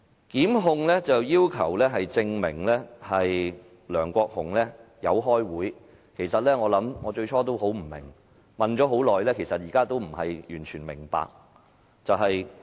檢控要求證明梁國雄議員有開會，其實，最初我非常疑惑，問了很多，現在仍不能完全明白。